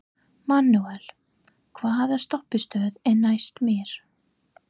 Manuel, hvaða stoppistöð er næst mér?